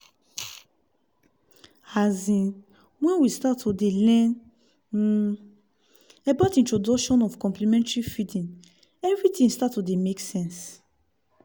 azinnwhen we start to dey learn um about introduction of complementary feeding everything start to dey make sense